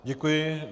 Děkuji.